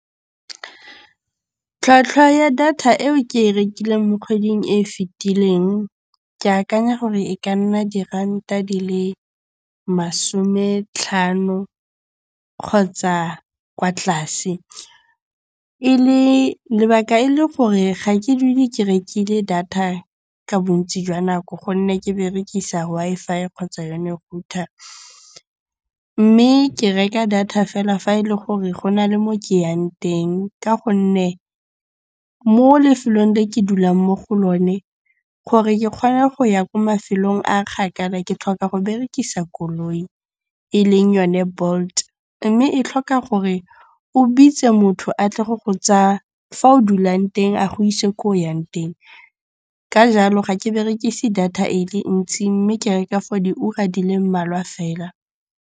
Tlhwatlhwa ya data eo ke e rekileng mo kgweding e e fitileng, ke akanya gore e ka nna diranta di le masome tlhano kgotsa kwa tlase. Lebaka e le gore ga ke dule ke rekile data ka bontsi jwa nako gonne ke berekisa Wi-Fi kgotsa yone router. Mme ke reka data fela fa e le gore go na le mo ke yang teng ka gonne mo lefelong le ke dulang mo go lone, gore ke kgone go ya ko mafelong a kgakala ke tlhoka go berekisa koloi e leng yone Bolt mme e tlhoka gore o bitse motho a tle go go tsaya fa o dulang teng a go ise ko o yang teng. Ka jalo ga ke berekise data e le ntsi mme ke reka for diura di le mmalwa fela.